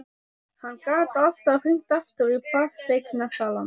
Hann gat alltaf hringt aftur í fasteignasalann.